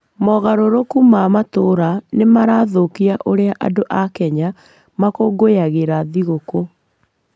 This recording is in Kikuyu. Mogarũrũku ma matũũra nĩ marathũkia ũrĩa andũ a Kenya makũngũyagĩra thigũkũ.